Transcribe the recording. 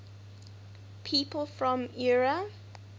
people from eure